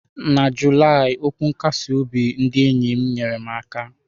Na Julaị, okwu nkasi obi ndị enyi m nyere m aka.